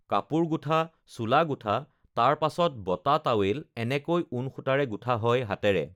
কাপোৰ গুঠা, চোলা গুঠা তাৰ পাছত বতা টাৱেল এনেকৈ ঊণ সূতাৰে গুঠা হয় হাতেৰে